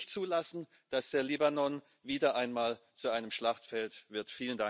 Wir können nicht zulassen, dass der Libanon wieder einmal zu einem Schlachtfeld wird.